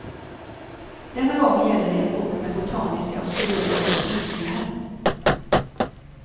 Denna gång gäller det en bok med botaniska och zoologiska teckningar.